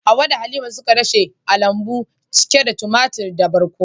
Hawwa da Halima suka dashe a lambu cike da tumatur da barkono.